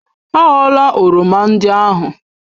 A ghọla oroma ndị ahụ!